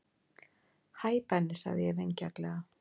Hæ Benni sagði ég vingjarnlega.